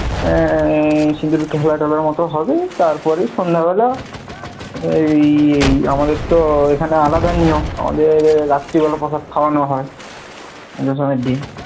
আহ সিন্দুর খেলাঠেলার মত হবে তারপর সন্ধ্যে বেলা আমাদের তো এখানে আলাদা নিয়ম, আমাদের রাত্রে বেলা প্রসাদ খাওয়ানো হয়, দশমীর দিন,